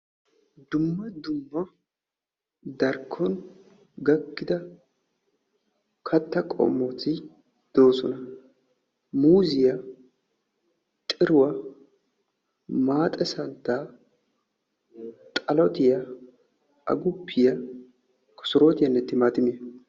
Dumma dumma darkkon gakkida katta qommoti de'oosona. Muuzziyaa, xiruwaa, maaxee santtaa, xalotiyaa, agguppiya, kosorootiyaanne timaattimmiya.